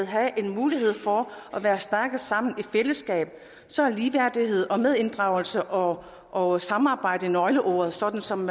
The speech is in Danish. have en mulighed for at være stærke sammen i fællesskab så er ligeværdighed og medinddragelse og og samarbejde nøgleordene sådan som